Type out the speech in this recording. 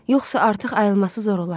Yoxsa artıq ayılması zor olardı.